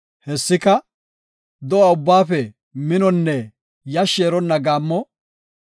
Hessika, do7a ubbaafe minonne yashshi eronna gaammo.